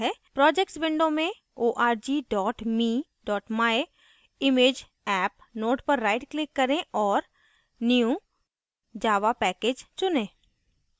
projects window में org me myimageapp node पर right click करें और new> java package चुनें